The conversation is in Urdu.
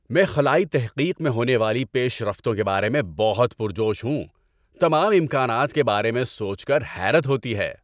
میں خلائی تحقیق میں ہونے والی پیش رفتوں کے بارے میں بہت پرجوش ہوں! تمام امکانات کے بارے میں سوچ کر حیرت ہوتی ہے۔